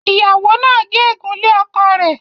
ìyàwó nà gé egun lẹ́ ọkọ rẹ.